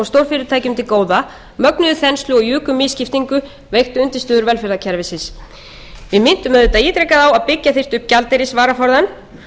til góða mögnuðu þenslu og juku misskiptingu veiktu undirstöður velferðarkerfisins við minntum auðvitað ítrekað á að byggja þyrfti upp gjaldeyrisvaraforðann